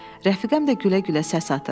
Rəfiqəm də gülə-gülə səs atır.